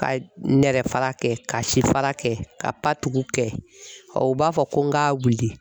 Ka nɛrɛ fara kɛ, ka si fara kɛ ,ka patuku kɛ , u b'a fɔ ko n ka wili